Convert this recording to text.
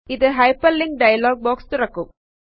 ഇതു hyperlink dialog box തുറകും